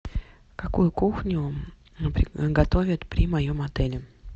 какую кухню готовят при моем отеле